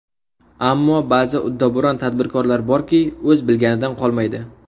Ammo ba’zi ‘uddaburon’ tadbirkorlar borki, o‘z bilganidan qolmaydi.